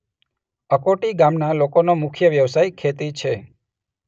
અકોટી ગામના લોકોનો મુખ્ય વ્યવસાય ખેતી છે.